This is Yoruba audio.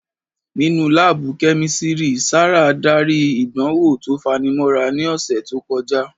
Nínú láàbù Kẹ́mísírì, Sárà darí ìdánwò tó fanimọ́ra ní ọ̀sẹ̀ tó kọjá